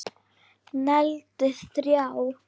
Negldi þrjá!!!